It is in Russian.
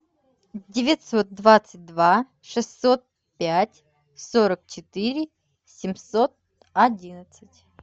девятьсот двадцать два шестьсот пять сорок четыре семьсот одиннадцать